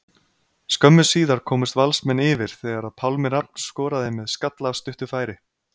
Skömmu síðar komust Valsmenn yfir þegar að Pálmi Rafn skoraði með skalla af stuttu færi.